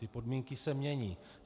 Ty podmínky se mění.